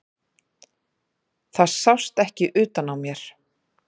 Það sást ekki utan á mér.